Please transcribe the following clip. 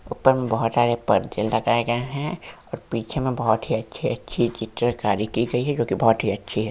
ऊपर में बहुत अच्छे पर्दे लगाए गए है और पीछे में बहुत ही अच्छी -अच्छी चित्रकारी की गयी है जोकि बहुत ही अच्छी हैं।